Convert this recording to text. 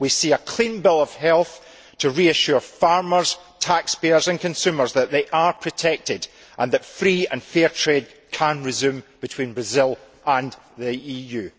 We need to see a clean bill of health to reassure farmers, taxpayers and consumers that they are protected and that free and fair trade can resume between Brazil and the EU.